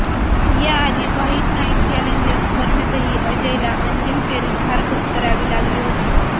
याआधी white night challengers स्पर्धेतही अजयला अंतिम फेरीत हार पत्करावी लागली होती